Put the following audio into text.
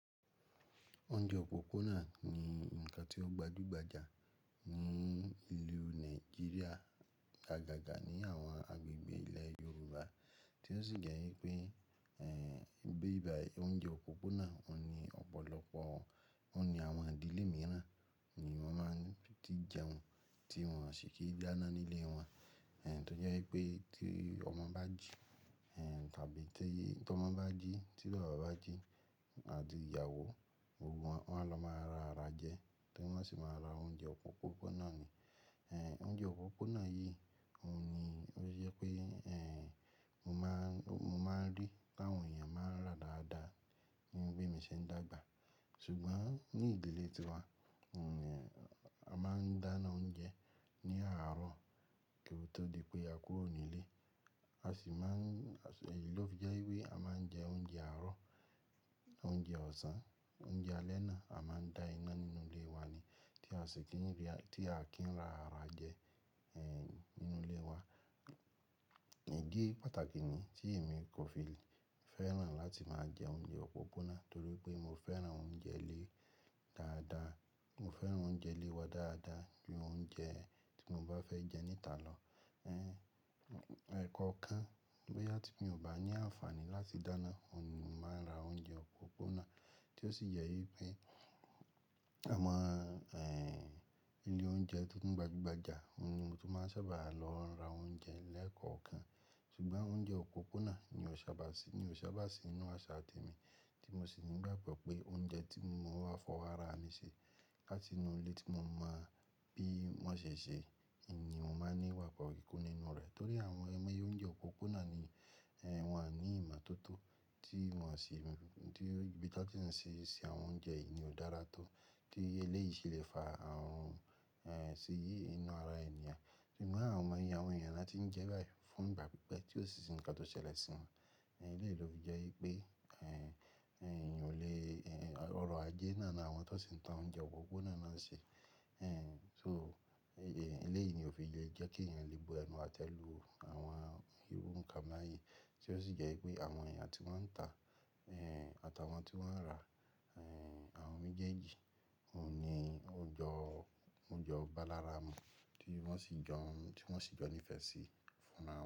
Oúnjẹ òpópónà ni nǹkan tí ó gbadúgbajà ní ìlú Nàìjíríà, gágàga ní àwọn agbègbè ilẹ̀ Yorùbá tí ó sì jẹ́ wípé, ẹ́, bí i bá, oúnjẹ òpópónà òun ni ọ̀pọ̀lọpọ̀ òun ni àwọn ìdílé mìíràn ni wọ́n máa tí jẹun tí wọ́n ṣì kí dáná nílé wọn. Ẹ̀, tó jẹ́ wípé tí ọmọ bá jí, ẹ́, tàbí tẹ́yí tí ọmọ bá jí, tí bàbá bá jí àti ìyàwó, gbogbo wọn, wọ́n lọ máa ra ara jẹ, tí wọ́n sì máa ra oúnjẹ òpópónà ni. Ẹ̀, oúnjẹ òpópónà yìí òun ni ó jẹ́ pé, ẹ́, mo máa, mo máa rí láwọn èèyàn máa ń rà dáadáa ní bi emí ṣe ń dàgbà. Ṣùgbọ́n ní ìdílé tiwa, un ẹ́, a máa ń dáná oúnjẹ ní àárọ̀ kí ó tó di pé a kúrò nílé. A sì máa ń, ẹ́, èyí ló fi jẹ́ wípé a máa ń jẹ oúnjẹ àárọ̀, oúnjẹ ọ̀sán, oúnjẹ alẹ́ ná, a máa ń dá iná nínú ilé wa ni tí a sì kí ń rí, tí a kì í rà ara jẹ, ẹ́, nínú ilé wa. Idí pàtàkì ni tí èmi kò fi fẹ́ràn láti máa jẹ oúnjẹ òpópónà torí pé mo fẹ́ràn oúnjẹ ilé dáadáa. Mo fẹ́ràn oúnjẹ ilé wa dáadáa ju oúnjẹ tí mo bá fẹ́ jẹ níta lọ. Ẹ́, ẹ̀kọ kan bóyá tí mi ò bá ní àǹfààní láti dáná òun ni mo máa ń ra oúnjẹ òpópónà tí ó sì jẹ́ wípé, a máa, ẹ́, ilé oúnjẹ tó ń gbajúgbajà òun ni mo tún máa ń sábà lọ ra oúnjẹ lẹ́ẹ̀kọ̀ọ́ kan. Ṣùgbọ́n oúnjẹ òpópónà ni ò sábà sí, ni ò sábà sí inú àṣà ti mi tí mo sì ní ìgbàgbọ́ pé oúnjẹ tí mo máa fọ ara mi ṣe láti inú ilé tí mo mọ bí wọ́n ṣe ń ṣe ni n mo máa ní ìgbàgbo kikùn nínú rẹ̀. Torí àwọn aimoyẹ oúnjẹ òpópónà ni ẹ́, wọn à ní ìmọ̀tótó tí wọ́n o sì ń, tí ibí ti won ti ń ṣe ṣe àwọn oúnjẹ yìí ò dára tó tí eléyìí ṣe lè fa àrun, ẹ́, siyi inú ara ènìyàn. Ṣùgbọ́n àwọn ọmọ èèyàn, àwọn èèyàn la tí ń jẹ báyìí fún ìgbà pípẹ́ tí ó sì sì nǹkan tó ṣẹlẹ̀ sí wọn. Ẹ̀, èyí ló fi jẹ́ wípé, ẹ́, ẹ́, èyàn ò lè, ẹ́, ọrọ̀ ajé náà ni àwọn tó sì ń tà oúnjẹ òpópónà náà ń ṣe. Ẹ́, so eléyìí ni ó fi jẹ́ jẹ́ kí èèyàn lè bu ẹnu àtẹ́ lu àwọn irú nǹkan báyìí tí ó sì jẹ́ wípé àwọn èèyàn tí wọ́n ń tà, ẹ́, àtàwọn tí wọ́n ń rà, ẹ́, àwọn mejeeji òun ni ó jọ, ó jọ balára mu tí wọ́n sì jọ, tí wọ́n sì jọ nífẹ́ sí fún ra won.